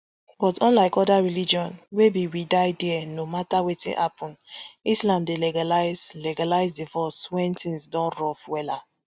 but unlike oda religions wey be we die dia no mata wetin happun islam dey legalize legalize divroce wen tins don rough wella